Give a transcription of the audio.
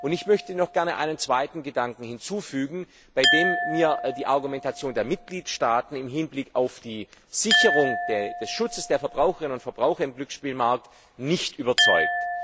Ich möchte noch gerne einen zweiten Gedanken hinzufügen, bei dem mich die Argumentation der Mitgliedstaaten im Hinblick auf die Sicherung des Schutzes der Verbraucherinnen und Verbraucher auf dem Glücksspielmarkt nicht überzeugt.